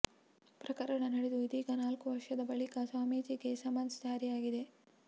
ಪ್ರಕರಣ ನಡೆದು ಇದೀಗ ನಾಲ್ಕು ವರ್ಷದ ಬಳಿಕ ಸ್ವಾಮೀಜಿಗೆ ಸಮನ್ಸ್ ಜಾರಿಯಾಗಿದೆ